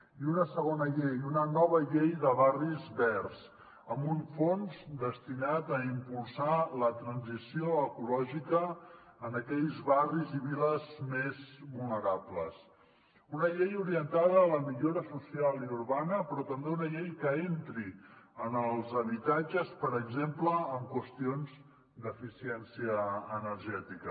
i una segona llei una nova llei de barris verds amb un fons destinat a impulsar la transició ecològica en aquells barris i viles més vulnerables una llei orientada a la millora social i urbana però també una llei que entri en els habitatges per exemple en qüestions d’eficiència energètica